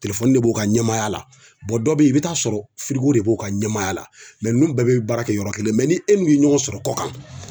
Telefɔni de b'u ka ɲɛmaaya la dɔ bɛ yen i bɛ taa sɔrɔ de b'u ka ɲamaaya la ninnu bɛɛ bɛ baara kɛ yɔrɔ kelen mɛ ni e min ye ɲɔgɔn sɔrɔ kɔ kan